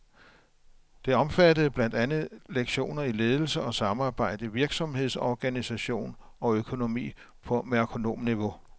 Det omfattede blandt andet lektioner i ledelse og samarbejde, virksomhedsorganisation og økonomi på merkonomniveau.